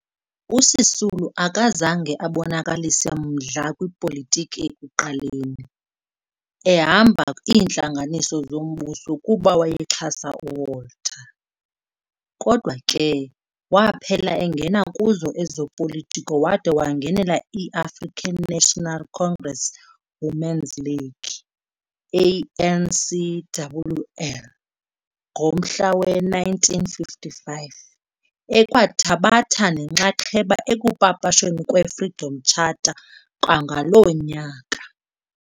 USisulu akazange abonakalise mdla kwipolitiki ekuqaleni, ehamba iintlanganiso zombuso kuba wayexhasa uWalter, kodwa ke waphela engena kuzo ezopolitiko wada wangenela i-African National Congress Women's League, ANCWL, ngomnyaka we-1955 ekwathabatha nenxaxheba ekupapashweni kwe-Freedom Charter kwangaloo nyaka.